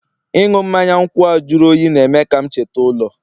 ịṅụ mmanya nkwụ a jụrụ oyi na-eme ka m cheta ụlọ